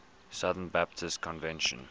southern baptist convention